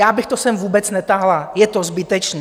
Já bych to sem vůbec netahala, je to zbytečné.